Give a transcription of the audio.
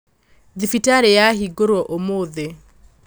thibitarĩ yahingũrwo ũmũthĩ